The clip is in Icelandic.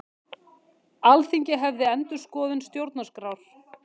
Alþingi hefji endurskoðun stjórnarskrár